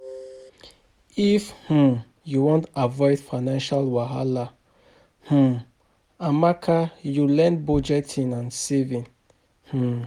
If um you wan avoid financial wahala, um lmake you learn budgeting and saving. um